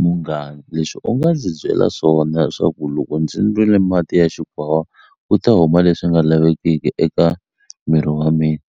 Munghana leswi u nga ndzi byela swona leswaku loko ndzi nwile mati ya xikwavava ku ta huma leswi nga lavekeki eka miri wa mina